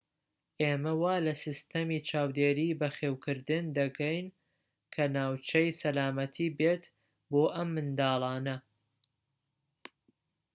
ئێمە وا لە سیستەمی چاودێری بەخێوکردن دەگەین کە ناوچەی سەلامەتی بێت بۆ ئەم منداڵانە